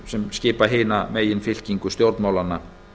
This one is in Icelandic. sem skipa hina meginfylkingu stjórnmálanna